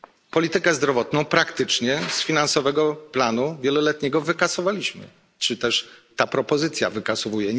Politykę zdrowotną praktycznie z finansowego planu wieloletniego wykasowaliśmy czy też ta propozycja ją wykasowuje.